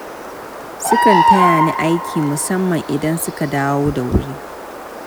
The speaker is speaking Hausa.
Sukan taya ni aiki, musamman idan suka dawo da wuri.